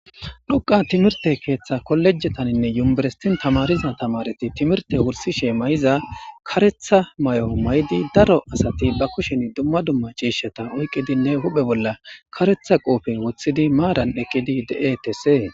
Nuka timirtte keththa kollejetanne universitinn tamariza tamaretti timirtte wurisishshe mayizza kareththa mayo mayid daro asati baa kushshenni dumma dumma cishshata oyikkidinne huphphe bolla kareththa qofe woththid maranni de'etessi.